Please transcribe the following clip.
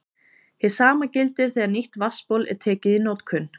Hið sama gildir þegar nýtt vatnsból er tekið í notkun.